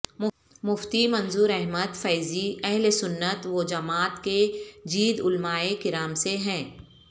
مفتی منظور احمد فیضی اہلسنت و جماعت کے جید علمائے کرام سے ہیں